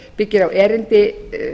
byggir á erindi